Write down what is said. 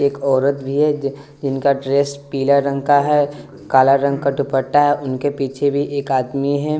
एक औरत भी है जि जिनका ड्रेस पिला रंग का है काला रंग का दुपट्टा है उनके पीछे भी एक आदमी हैं।